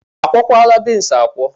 A kwuokwala beans akwọ?